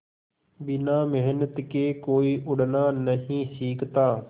बिना मेहनत के कोई उड़ना नहीं सीखता